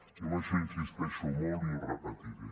jo amb això hi insisteixo molt i ho repetiré